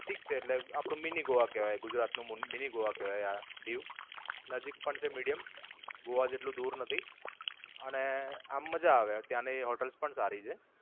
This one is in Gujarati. ઠીક છે એટલે, આપણું mini ગોવા કહેવાય ગુજરાત નું mini ગોવા કહેવાય આ દીવ. નજીક પણ છે medium. ગોવા જેટલું દૂર નથી. અને આમ મજા આવે ત્યાંની hotels પણ સારી છે.